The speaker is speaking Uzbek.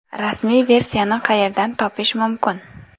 Rasmiy versiyani qayerdan topish mumkin?